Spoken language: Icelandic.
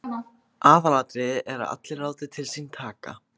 Aðalatriðið er að allir láti til sín taka.